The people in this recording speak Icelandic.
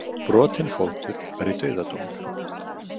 Brotinn fótur væri dauðadómur.